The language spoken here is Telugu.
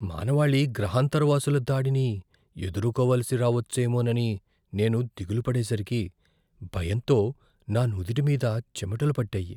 మానవాళి గ్రహాంతరవాసుల దాడిని ఎదుర్కోవలసి రావచ్చేమోనని నేను దిగులు పడేసరికి, భయంతో నా నుదిటి మీద చెమటలు పట్టాయి.